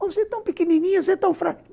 Mas você é tão pequenininha, você é tão fraca.